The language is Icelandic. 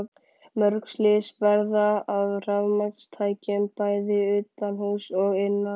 Mörg slys verða af rafmagnstækjum, bæði utanhúss og innan.